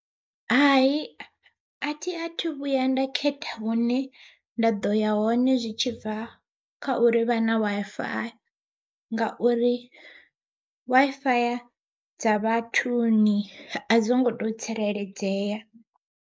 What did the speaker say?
Hai athi athu vhuya nda khetha hune nda ḓo ya hone zwi tshibva kha uri vha na Wi-Fi, ngauri Wi-Fi ya dza vhathuni a dzi ngo to tsireledzea.